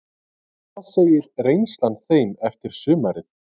Hvað segir reynslan þeim eftir sumarið?